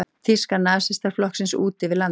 Þýska nasistaflokksins út yfir landið.